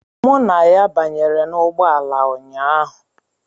Mụ na ya banyere n'ụgbọelu ụnyaahụ.